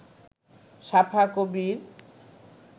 সাফা কবির